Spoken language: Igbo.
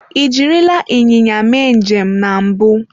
Ị jirila ịnyịnya mee njem na mbụ?